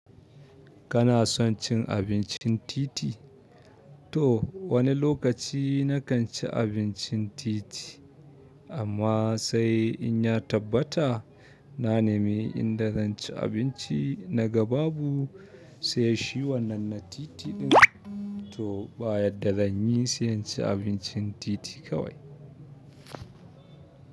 Kana son cin abincin titi? To wani lokaci nakan ci abincin titi amma sai in ya tabbata na nemi inda zanci abinci naga babu sai shi wannan na titin to ba yadda zan yi sai inci abincin titi kawai.